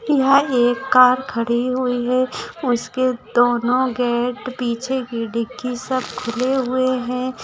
यहाँ एक कार खड़ी हुई है उसके दोनों गेट पीछे की डिक्की सब खुले हुए हैं।